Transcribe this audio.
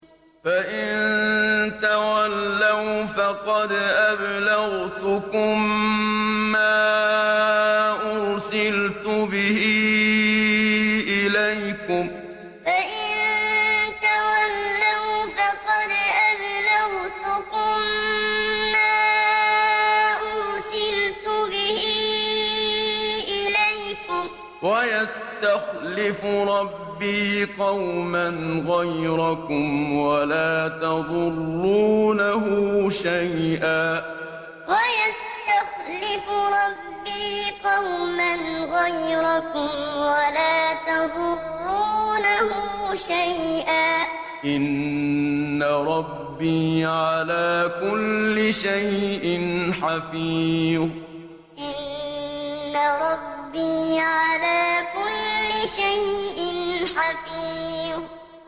فَإِن تَوَلَّوْا فَقَدْ أَبْلَغْتُكُم مَّا أُرْسِلْتُ بِهِ إِلَيْكُمْ ۚ وَيَسْتَخْلِفُ رَبِّي قَوْمًا غَيْرَكُمْ وَلَا تَضُرُّونَهُ شَيْئًا ۚ إِنَّ رَبِّي عَلَىٰ كُلِّ شَيْءٍ حَفِيظٌ فَإِن تَوَلَّوْا فَقَدْ أَبْلَغْتُكُم مَّا أُرْسِلْتُ بِهِ إِلَيْكُمْ ۚ وَيَسْتَخْلِفُ رَبِّي قَوْمًا غَيْرَكُمْ وَلَا تَضُرُّونَهُ شَيْئًا ۚ إِنَّ رَبِّي عَلَىٰ كُلِّ شَيْءٍ حَفِيظٌ